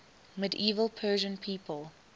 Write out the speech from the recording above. medieval persian people